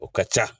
O ka ca